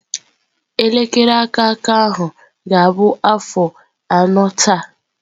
Elekere aka aka ahụ ga-abụ afọ anọ taa.